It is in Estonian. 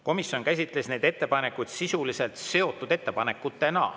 Komisjon käsitles neid ettepanekuid sisuliselt seotud ettepanekutena.